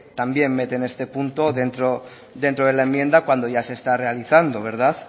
también mete en este punto dentro de la enmienda cuando ya se está realizando verdad